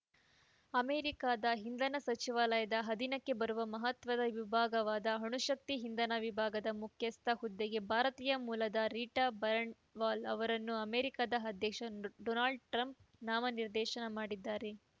ಅಮೆರಿಕದ ಇಂಧನ ಸಚಿವಾಲಯದ ಅಧೀನಕ್ಕೆ ಬರುವ ಮಹತ್ವದ ವಿಭಾಗವಾದ ಅಣುಶಕ್ತಿ ಇಂಧನ ವಿಭಾಗದ ಮುಖ್ಯಸ್ಥ ಹುದ್ದೆಗೆ ಭಾರತೀಯ ಮೂಲದ ರೀಟಾ ಬರಣ್‌ವಾಲ್‌ ಅವರನ್ನು ಅಮೆರಿಕದ ಅಧ್ಯಕ್ಷ ಡೊನಾಲ್ಡ್‌ ಟ್ರಂಪ್‌ ನಾಮನಿರ್ದೇಶನ ಮಾಡಿದ್ದಾರೆ